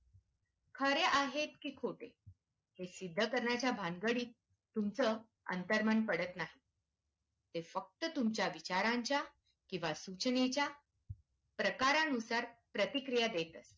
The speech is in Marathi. खरे आहेत की खोट हे सिद्ध करण्याच्या भानगडीत तुमचं अंतर्मन पडत नाही ते फक्त तुमच्या विचारांच्या किंवा सूचनेच्या प्रकारानुसार प्रतिक्रिया देत असत